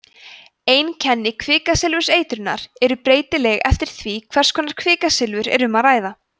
einkenni kvikasilfurseitrunar eru breytileg eftir því hvers konar kvikasilfur er um að ræða